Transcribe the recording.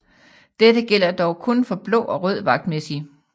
Dette gælder dog kun for blå og rød vagtmæssig